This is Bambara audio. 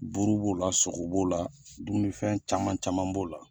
Buru b'o la sogo b'o la dumunifɛn caman caman b'o la.